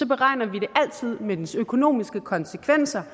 beregner vi det altid med dets økonomiske konsekvenser